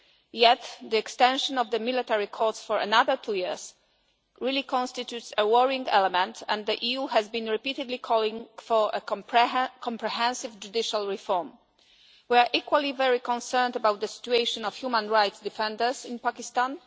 Yet, the extension of the military courts for another two years really constitutes a worrying element and the EU has been repeatedly calling for a comprehensive judicial reform. We are equally very concerned about the situation of human rights defenders in Pakistan.